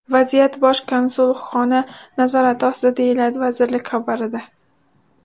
Vaziyat Bosh konsulxona nazorati ostida, deyiladi vazirlik xabarida.